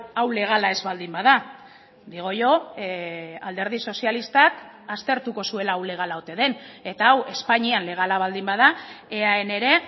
hau legala ez baldin bada digo yo alderdi sozialistak aztertuko zuela hau legala ote den eta hau espainian legala baldin bada eaen ere